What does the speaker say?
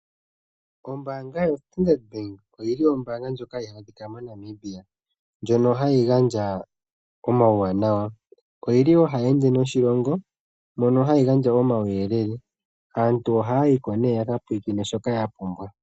Ombaanga yo Standard oyili ombaanga ndjoka hayi adhika moNamibia ndjono hayi gandja omawuyelele. Oyili woo hayi ende noshilongo mono hayi gandja omawuyelele. Aantu oha yayiko nee yaka pulakene.